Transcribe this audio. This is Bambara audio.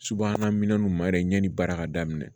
Subahana minɛnw ma yɛrɛ ɲɛ ni baara ka daminɛ